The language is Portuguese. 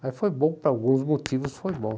Mas foi bom por alguns motivos, foi bom.